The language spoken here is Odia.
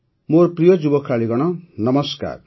ମୋର ପ୍ରିୟ ଯୁବ ଖେଳାଳୀଗଣ ନମସ୍କାର